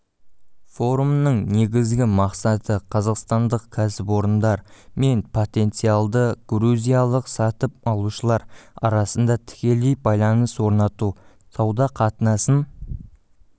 форумның негізгі мақсаты қазақстандық кәсіпорындар мен потенциалды грузиялық сатып алушылар арасында тікелей байланыс орнату сауда қатынасын